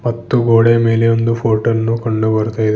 ಮತ್ತು ಗೋಡೆಯ ಮೇಲೆ ಒಂದು ಫೋಟೋ ಅನ್ನು ಕಂಡು ಬರ್ತಾ ಇದೆ.